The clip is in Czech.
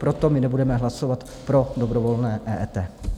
Proto my nebudeme hlasovat pro dobrovolné EET.